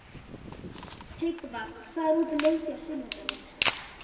Tryggva, hvað er opið lengi á sunnudaginn?